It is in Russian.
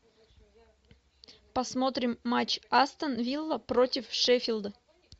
посмотрим матч астон вилла против шеффилда